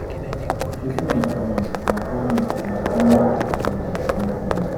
wetin im dey promise na promise na economic um development